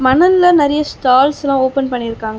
மணல்ல நெறைய ஸ்டால்ஸ்லா ஓபன் பண்ணி இருக்காங்கோ.